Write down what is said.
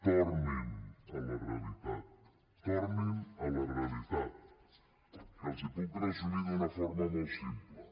tornin a la realitat tornin a la realitat que els puc resumir d’una forma molt simple